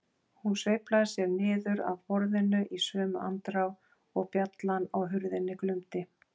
Hún sveiflaði sér niður af borðinu í sömu andrá og bjallan á hurðinni glumdi.